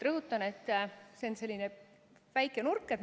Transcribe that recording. Rõhutan, et see on selline väike nurk.